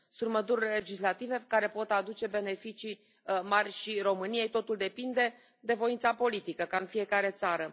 Sunt măsuri legislative care pot aduce beneficii mari și României, totul depinde de voința politică, ca în fiecare țară.